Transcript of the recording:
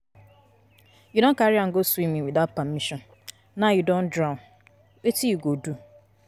You don carry am go swimming without permission, now he drown, wetin you go do?